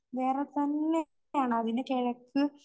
വേറെതന്നെയാണ്.അതിന് കെഴക്ക്